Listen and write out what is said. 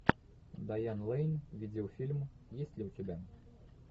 дайан лэйн видеофильм есть ли у тебя